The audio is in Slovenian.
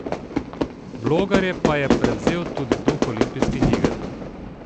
Blogerje pa je prevzel tudi duh olimpijskih iger.